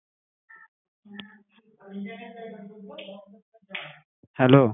Hello